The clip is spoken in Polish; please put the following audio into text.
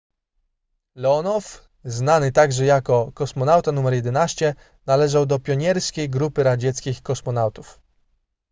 leonow znany także jako kosmonauta nr 11 należał do pionierskiej grupy radzieckich kosmonautów